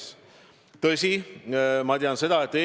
Seda otsustatud ei ole, aga ma tean, et see mõte on.